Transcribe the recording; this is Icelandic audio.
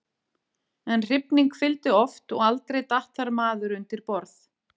En hrifning fylgdi oft og aldrei datt þar maður undir borð.